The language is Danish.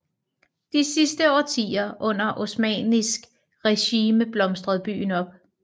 De sidste årtier under osmannisk regime blomstrede byen op